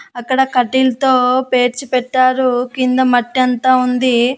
అక్కడ కట్టిల్తో పేర్చి పెట్టారు కింద మట్టంతా ఉంది.